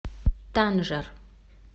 танжер